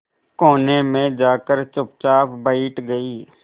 कोने में जाकर चुपचाप बैठ गई